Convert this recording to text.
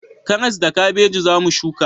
Karas da kabeji za mu shuka